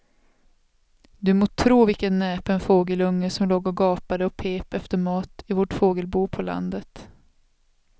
Du må tro vilken näpen fågelunge som låg och gapade och pep efter mat i vårt fågelbo på landet.